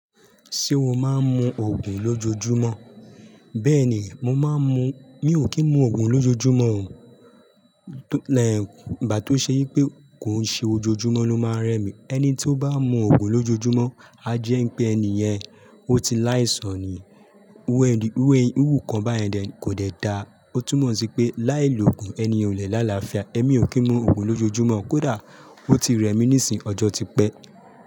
Ṣé o máa ń mu òògùn lójoojúmọ́? Bẹ́ẹ̀ni, mo máa ń mu, mi ò kí ń mu òògùn lójoojúmọ́ o. Ìgbà to ṣe wipé kò ń ṣe ojoojúmọ́ ló máa ń rẹ mi. Ẹni tí ó bá ń mu òògùn lójoojúmọ́, a jẹ ń pé ẹni yẹn ó ti láìsàn ni. Iru nkàn báyẹn dẹ ni, kò dẹ dáa. Ó túmọ̀ sí pé láìlò òògùn, ẹni yẹn o lè lá làáfíà. Ẹ̀mí ò kí ń mu òògùn lójoojúmọ́, kódà ó ti rẹ mi níìsín, ọjọ́ ti pẹ́